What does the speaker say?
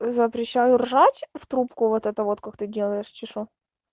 запрещаю ржач в трубку вот это вот как ты делаешь чи шо